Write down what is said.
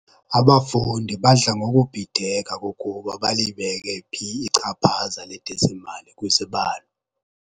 Abafundi badla ngokubhideka kukuba balibeke phi ichaphaza ledesimali kwizibalo.